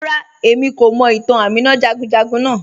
Ràrà, ẹ̀mí kò mọ̀ ìtàn Àmínà jàgùnjàgùn naa